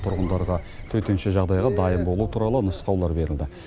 тұрғындарға төтенше жағдайға дайын болу туралы нұсқаулар берілді